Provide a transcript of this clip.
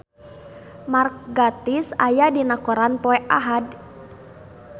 Mark Gatiss aya dina koran poe Ahad